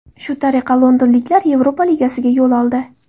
Shu tariqa londonliklar Yevropa Ligasiga yo‘l oldi.